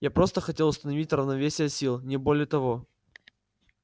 я просто хотел установить равновесие сил не более того